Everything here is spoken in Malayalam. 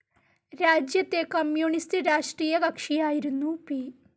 രാജ്യത്തെ കമ്മ്യൂണിസ്റ്റ്‌ രാഷ്ട്രീയകക്ഷിയായിരുന്ന പി.